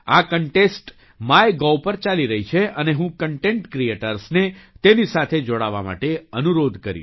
આ contest my gov પર ચાલી રહી છે અને હું કન્ટેન્ટ ક્રીએટર્સને તેની સાથે જોડાવા માટે અનુરોધ કરીશ